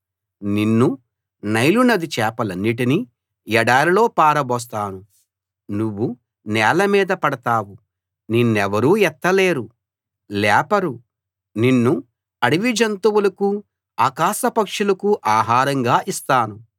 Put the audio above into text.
నిన్నూ Nile నది చేపలన్నిటినీ ఎడారిలో పారబోస్తాను నువ్వు నేల మీద పడతావు నిన్నెవరూ ఎత్తలేరు లేపరు నిన్ను అడవి జంతువులకు ఆకాశపక్షులకు ఆహారంగా ఇస్తాను